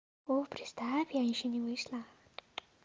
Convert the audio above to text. ох представь я ещё не вышла